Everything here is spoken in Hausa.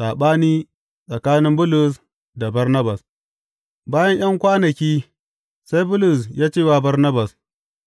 Saɓani tsakanin Bulus da Barnabas Bayan ’yan kwanaki sai Bulus ya ce wa Barnabas,